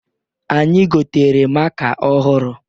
Anyị gotere maka ọhụrụ.